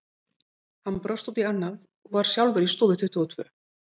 Hann brosti út í annað, var sjálfur í stofu tuttugu og tvö.